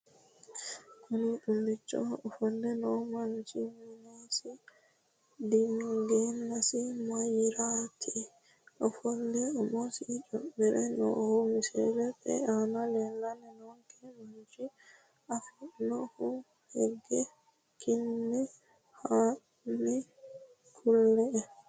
Kuni xulicho ofole noo manachi minesi diingeenatinso mayirati ofole umosi cummire noohu misilete aana leelani noonke manchi afinoonini hege kinne hani kule`e?